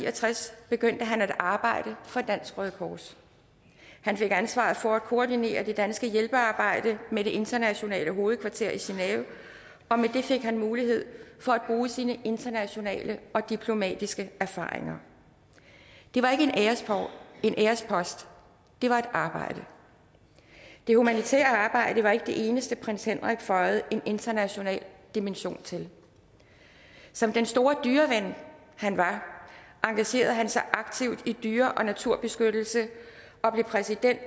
og tres begyndte han at arbejde for dansk røde kors han fik ansvaret for at koordinere det danske hjælpearbejde med det internationale hovedkvarter i genève og med det fik han mulighed for at bruge sine internationale og diplomatiske erfaringer det var ikke en ærespost det var et arbejde det humanitære arbejde var ikke det eneste prins henrik føjede en international dimension til som den store dyreven han var engagerede han sig aktivt i dyre og naturbeskyttelse og blev præsident